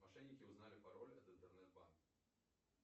мошенники узнали пароль от интернет банка